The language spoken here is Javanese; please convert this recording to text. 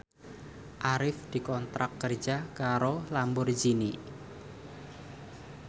Arif dikontrak kerja karo Lamborghini